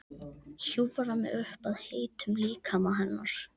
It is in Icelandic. Hjúfra mig upp að heitum líkama hennar.